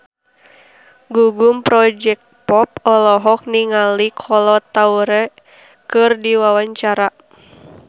Gugum Project Pop olohok ningali Kolo Taure keur diwawancara